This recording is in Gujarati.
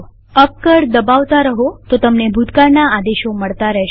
અપ કળ દબાવતા રહો તો તમને ભૂતકાળના આદેશો મળતા રહેશે